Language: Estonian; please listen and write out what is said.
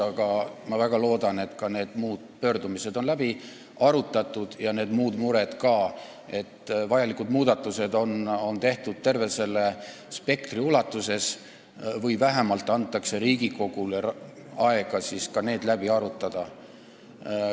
Aga ma väga loodan, et ka need muud pöördumised ja muud mured on läbi arutatud, st vajalikud muudatused on tehtud terve spektri ulatuses, või vähemalt antakse Riigikogule aega need läbi arutada.